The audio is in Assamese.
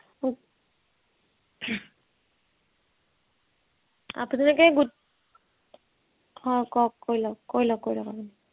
আপোনালোকে গোট অ কওক কৈ লওক কৈ লওক কৈ লওক আপুনি